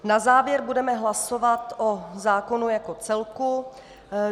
Na závěr budeme hlasovat o zákonu jako celku.